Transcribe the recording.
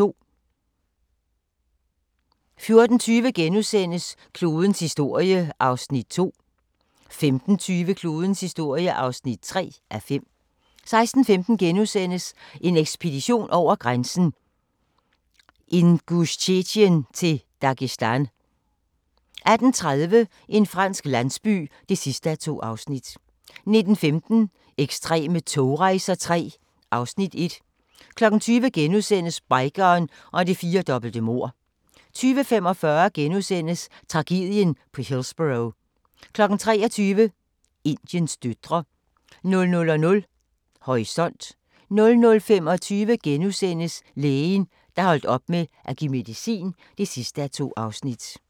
14:20: Klodens historie (2:5)* 15:20: Klodens historie (3:5) 16:15: En ekspedition over grænsen: Ingusjetien til Dagestan * 18:30: En fransk landsby (2:2) 19:15: Ekstreme togrejser III (Afs. 1) 20:00: Bikeren og det firdobbelte mord * 20:45: Tragedien på Hillsborough * 23:00: Indiens døtre 00:00: Horisont 00:25: Lægen, der holdt op med at give medicin (2:2)*